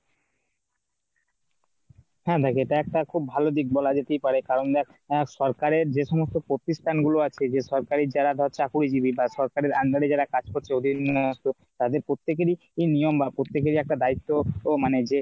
হ্যাঁ ভাই এটা একটা খুব ভালো দিক বলা যেতে পারে। কারণ দেখ সরকারের যে সমস্ত প্রতিষ্ঠান গুলো আছে যে সরকারি যারা ধর চাকুরিজীবি বা সরকাররে under এ যারা কাজ করছে ওদের নিয়ে আসতো তাদের প্রত্যেকেরই নিয়ম বা প্রত্যেকেরই একটা দায়িত্ব ও মানে যে